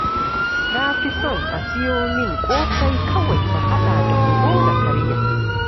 Na fi son a siyo min ƙosai kawai na haɗa da kunu na karya